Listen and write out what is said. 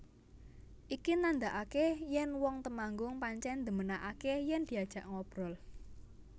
Iki nandhakake yen wong Temanggung pancen ndhemenakake yen diajak ngobrol